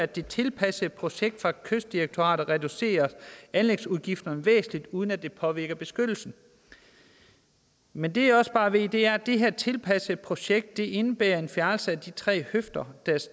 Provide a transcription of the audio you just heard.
det tilpassede projekt fra kystdirektoratet reduceres anlægsudgifterne væsentligt uden at det påvirker beskyttelsen men det jeg også bare ved er at det her tilpassede projekt indebærer en fjernelse af de tre høfder der